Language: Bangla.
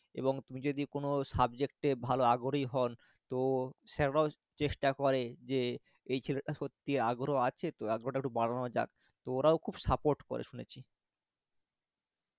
এবং তুমি যদি কোনো subject এ ভালো আগ্রহী হন তো sir রাও চেষ্টা করে যে এই ছেলেটার সত্যি আগ্রহ আছে তো আগ্রহটা একটু বাড়ানো যাক, তো ওরাও খুব support করে শুনেছি